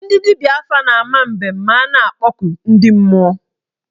Ndị dibịa afa na-ama mbem ma a na-akpọku ndị mmụọ.